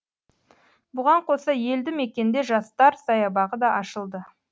бұған қоса елді мекенде жастар саябағы да ашылды